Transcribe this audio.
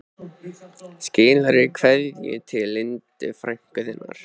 Skilaðu kveðju til Indíru, frænku þinnar